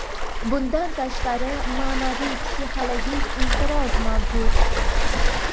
Bundan tashqari, ma’naviy-psixologik inqiroz mavjud.